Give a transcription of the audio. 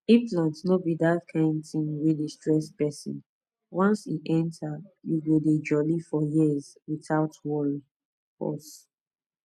implant no be that kind thing wey dey stress person once e enter you go dey jolly for years without worry pause